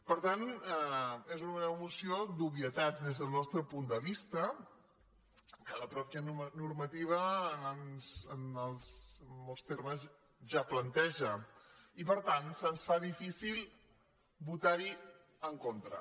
per tant és una moció d’obvietats des del nostre punt de vista que la mateixa normativa en molts termes ja planteja i per tant se’ns fa difícil votar·hi en con·tra